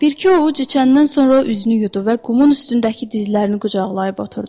Bir-iki ovuc içəndən sonra üzünü yudu və qumun üstündəki dizlərini qucaqlayıb oturdu.